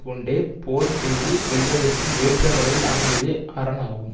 கொண்டே போர் செய்து வெல்வதற்கு ஏற்ற வகையில் அமைந்ததே அரண் ஆகும்